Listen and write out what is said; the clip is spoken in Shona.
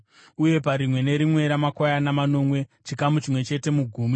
uye parimwe nerimwe ramakwayana manomwe, chikamu chimwe chete mugumi.